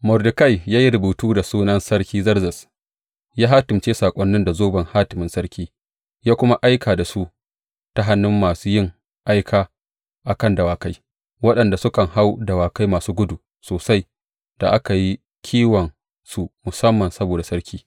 Mordekai ya yi rubutu da sunan Sarki Zerzes, ya hatimce saƙonin da zoben hatimin sarki, ya kuma aika da su ta hannun masu ’yan aika a kan dawakai, waɗanda sukan hau dawakai masu gudu sosai, da aka yi kiwonsu musamman saboda sarki.